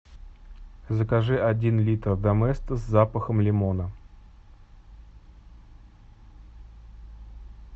закажи один литр доместос с запахом лимона